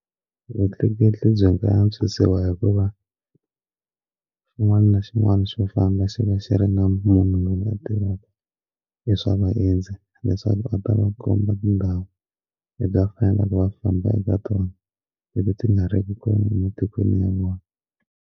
Vutleketli byi nga antswisiwa hikuva xin'wana na xin'wana swo famba xi va xi ri na munhu loyi a tivaka i swa vaendzi leswaku a ta va komba tindhawu le bya fana nakona a famba eka tona leti ti nga ri ki kona ematikweni ya vona.